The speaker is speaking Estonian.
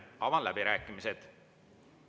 Avan läbirääkimised.